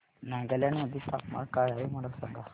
नागालँड मध्ये तापमान काय आहे मला सांगा